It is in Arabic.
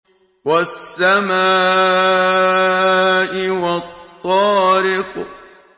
وَالسَّمَاءِ وَالطَّارِقِ